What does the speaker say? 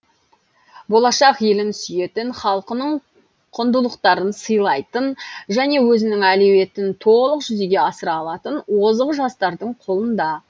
болашақ елін сүйетін халқының құндылықтарын сыйлайтын және өзінің әлеуетін толық жүзеге асыра алатын озық жастардың қолында